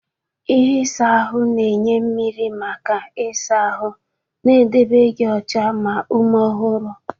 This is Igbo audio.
ihe isa ahụ na-enye mmiri maka ịsa ahụ, na-edebe gị ọcha ma ume ọhụrụ.